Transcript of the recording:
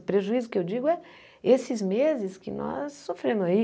O prejuízo que eu digo é esses meses que nós sofremos aí.